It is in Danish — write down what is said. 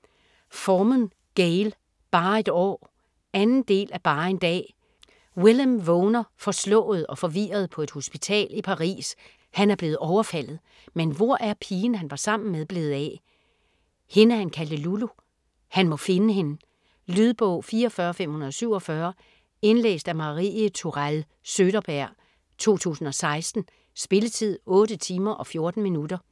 Forman, Gayle: Bare et år 2. del af Bare en dag. Willem vågner forslået og forvirret på et hospital i Paris, han er blevet overfaldet. Men hvor er pigen han var sammen med blevet af? Hende han kaldte Lulu? Han må finde hende. Lydbog 44547 Indlæst af Marie Tourell Søderberg, 2016. Spilletid: 8 timer, 14 minutter.